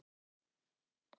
Ég held að það sé mjög sárt.